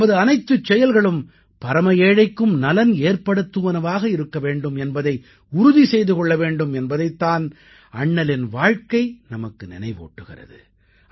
நமது அனைத்துச் செயல்களும் பரம ஏழைக்கும் நலன் ஏற்படுத்துவனவாக இருக்கவேண்டும் என்பதை உறுதி செய்து கொள்ள வேண்டும் என்பதைத் தான் அண்ணலின் வாழ்க்கை நமக்கு நினைவூட்டுகிறது